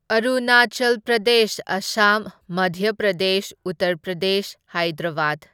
Arunachal Pradesh, Assam, Madhya Pradesh, Uttar Pradesh, Hyderabad.